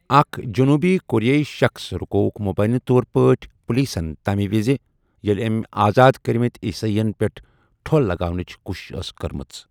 اَکھ جنوٗبی کوریٲئی شخٕص رُکووُکھ مبینہ طور پٲٹھۍ پولیسَن تَمہِ وِزِ ییٚلہِ أمۍ آزاد کٔرمٕتۍ عیسٲئیَن پٮ۪ٹھ ٹھۄل لگاونٕچ کوٗشش ٲس کٔرمٕژ۔